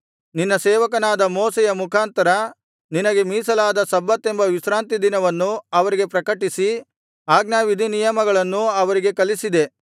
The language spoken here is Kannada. ನಿನ್ನ ಸೇವಕನಾದ ಮೋಶೆಯ ಮುಖಾಂತರ ನಿನಗೆ ಮೀಸಲಾದ ಸಬ್ಬತೆಂಬ ವಿಶ್ರಾಂತಿ ದಿನವನ್ನು ಅವರಿಗೆ ಪ್ರಕಟಿಸಿ ಆಜ್ಞಾವಿಧಿನಿಯಮಗಳನ್ನೂ ಅವರಿಗೆ ಕಲಿಸಿದೆ